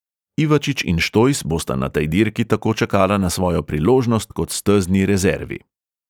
Ivačič in štojs bosta na tej dirki tako čakala na svojo priložnost kot stezni rezervi.